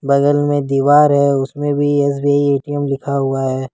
बगल में दीवार है उसमें भी एस_बी_आई ए_टी_एम लिखा हुआ है।